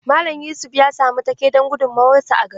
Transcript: Mallam yusuf ya samu take don gudunmawar sa a gari.